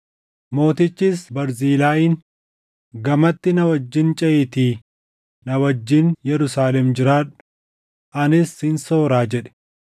Mootichis Barzilaayiin, “Gamatti na wajjin ceʼiitii na wajjin Yerusaalem jiraadhu; anis sin sooraa” jedhe.